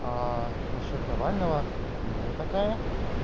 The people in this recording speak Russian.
а насчёт навального не такая